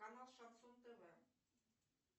канал шансон тв